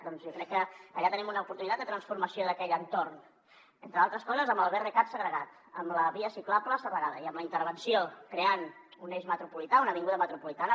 doncs jo crec que allà tenim una oportunitat de transformació d’aquell entorn entre altres coses amb el brcat segregat amb la via ciclable segregada i amb la intervenció creant un eix metropolità una avinguda metropolitana